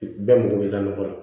Bɛɛ mago bɛ ka nɔgɔ la